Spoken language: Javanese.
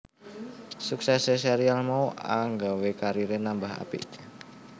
Suksesé serial mau anggawé kariré nambah apik